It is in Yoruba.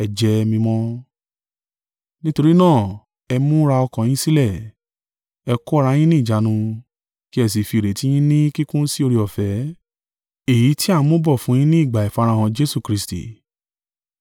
Nítorí náà, ẹ múra ọkàn yín sílẹ̀, ẹ kó ara yín ní ìjánu, kí ẹ sì fi ìrètí yín ní kíkún sí oore-ọ̀fẹ́, èyí tí a ń mu bọ̀ fún yin ni ìgbà ìfarahàn Jesu Kristi.